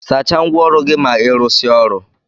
Sacha ngwa ọrụ gi ma irụsia ọrụ.